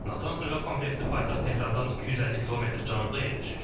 Natanz nüvə kompleksi paytaxt Tehrandan 250 km cənubda yerləşir.